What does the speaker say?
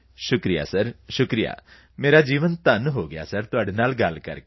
ਸ਼ੁਕਰੀਆ ਸਰ ਸ਼ੁਕਰੀਆ ਸਰ ਮੇਰਾ ਜੀਵਨ ਧਨ ਹੋ ਗਿਆ ਤੁਹਾਡੇ ਨਾਲ ਗੱਲ ਕਰਕੇ